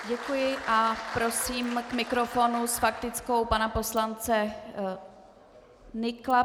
Děkuji a prosím k mikrofonu s faktickou pana poslance Nykla.